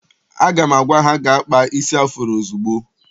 Aga m agwa ha gaa kpaa isi afuro ozugbo!